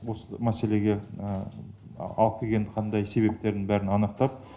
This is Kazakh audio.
осы мәселеге алып келген қандай себептерін бәрін анықтап